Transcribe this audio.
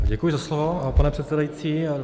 Děkuji za slovo, pane předsedající.